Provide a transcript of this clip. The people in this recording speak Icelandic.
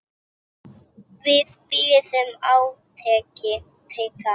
Við biðum átekta.